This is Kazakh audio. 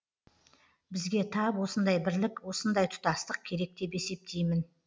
бізге тап осындай бірлік осындай тұтастық керек деп есептеймін